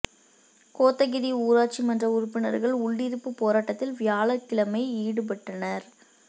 கோத்தகிரி ஊராட்சி மன்ற உறுப்பினா்கள் உள்ளிருப்புப் போராட்டத்தில் வியாழக்கிழமை ஈடுபட்டனா்